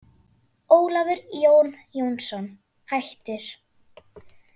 Ólafur Jón Jónsson, hættur